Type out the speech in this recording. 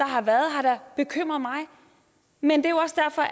har været har da bekymret mig men det